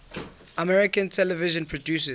american television producers